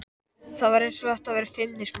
Það var eins og þetta væri feimnismál.